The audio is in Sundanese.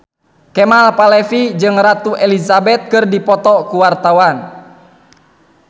Kemal Palevi jeung Ratu Elizabeth keur dipoto ku wartawan